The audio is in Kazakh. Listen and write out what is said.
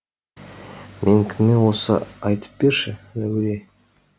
мен кіммін осы айтып берші әуре